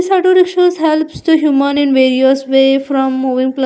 This auto rickshaws helps humans in various way from moving pla --